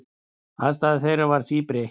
Afstaða þeirra væri því breytt.